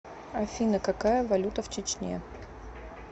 афина какая валюта в чечне